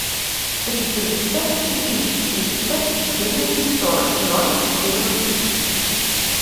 три триста четыре четыреста четырнадцать сорок ноль четырнадцать